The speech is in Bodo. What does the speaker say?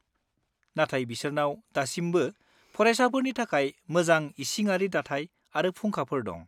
-नाथाय बिसोरनाव दासिमबो फरायसाफोरनि थाखाय मोजां इसिङारि दाथाय आरो फुंखाफोर दं।